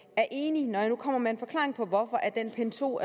er enig når jeg nu kommer med en forklaring på hvorfor pind to